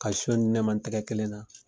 Ka son di ne ma n tɛgɛ kelen na